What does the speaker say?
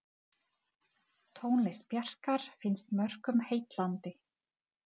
Tónlist Bjarkar finnst mörgum heillandi.